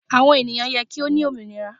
Àwọn ènìyàn yẹ kí wón wà ní òmìnira.